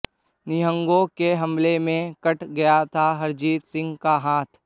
निहंगों के हमले में कट गया था हरजीत सिंह का हाथ